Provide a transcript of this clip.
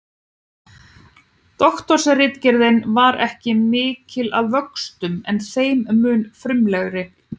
Doktorsritgerðin er ekki mikil að vöxtum en þeim mun frumlegri.